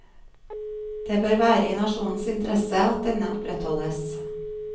Det bør være i nasjonens interesse at denne opprettholdes.